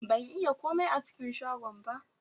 Ban yi komai a cikin shagon ba